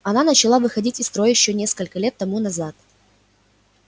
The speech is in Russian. она начала выходить из строя ещё несколько лет тому назад